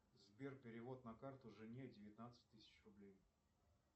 сбер перевод на карту жене девятнадцать тысяч рублей